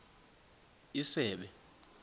isebe